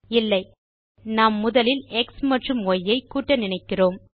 இல்லை நாம் முதலில் எக்ஸ் மற்றும் ய் ஐ கூட்ட நினைக்கிறோம்